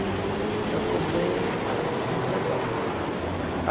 Ela ficou bem, sabe, muito legal.